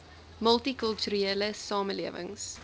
multi kulturele samelewings